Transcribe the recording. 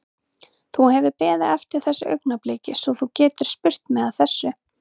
Þú hefur beðið eftir þessu augnabliki svo þú getir spurt mig að þessu?